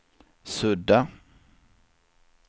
sudda